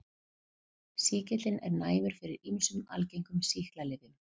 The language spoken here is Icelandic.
Sýkillinn er næmur fyrir ýmsum algengum sýklalyfjum.